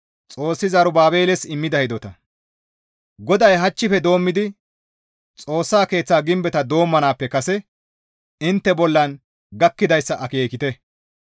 «GODAY, ‹Hachchife doommidi Xoossa Keeththa gimbeta doommanaappe kase intte bollan gakkidayssa akeekite.